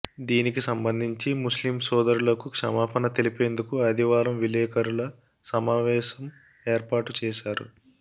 దీనికి సంబంధించి ముస్లిం సోదరులకు క్షమాపణ తెలిపేందుకు ఆదివారం విలేకరుల సమావేశం ఏర్పాటు చేశారు